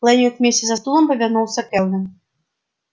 лэннинг вместе со стулом повернулся кэлвин